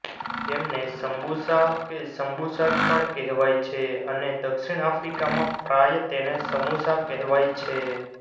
તેમને સમ્બુસા કે સમ્બુસાક પણ કહેવાય છે અને દક્ષિણ અફ્રીકામાં પ્રાય તેને સમુસા કહેવાય છે